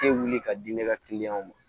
Te wuli ka di ne ka kiliyanw ma